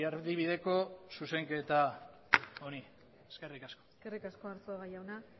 erdibideko zuzenketa honi eskerrik asko eskerrik asko arzuaga jauna